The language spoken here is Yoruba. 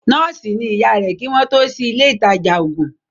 Nọ́ọ̀sì ni ìyá rẹ̀ kí wọ́n tó sí ilé ìtajà ògùn